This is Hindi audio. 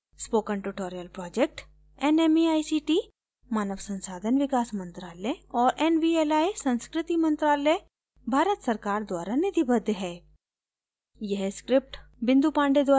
spoken tutorial project nmeict मानव संसाधन विकास मंत्रायल और nvli संस्कृति मंत्रालय भारत सरकार द्वारा निधिबद्ध है